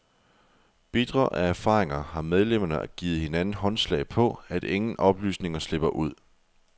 Bitre af erfaringer har medlemmerne givet hinanden håndslag på, at ingen oplysninger slipper ud.